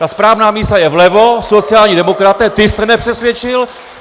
Ta správná mísa je vlevo, sociální demokraté, ty jste nepřesvědčil.